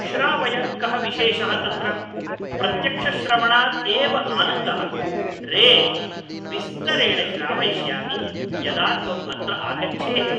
श्रावय कः विशेषः तत्र ? प्रत्यक्षश्रवणात् एव आनन्दः रे । विस्तरेण श्रावयिष्यामि , यदा त्वम् अत्र आगच्छेः ।